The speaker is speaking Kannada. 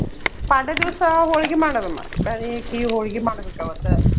ಪಾಡ್ಯಾ ದಿವ್ಸ ಹೊಳ್ಗಿ ಮಾಡೋದಮ್ಮಾ. ಬ್ಯಾಳಿ ಹಾಕಿ ಹೊಳ್ಗಿ ಮಾಡ್ಬೇಕ ಅವತ್ತ.